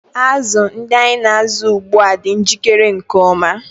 Azụ ndị anyị na-azụ ugbu a dị njikere nke ọma.